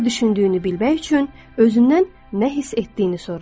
Nə düşündüyünü bilmək üçün özündən nə hiss etdiyini soruş.